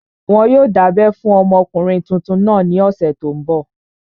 Wọn yóò dábẹ́ fún ọmọkùnrin tuntun náà ní ọ̀sẹ̀ tó n bọ̀